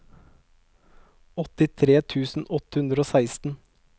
åttitre tusen åtte hundre og seksten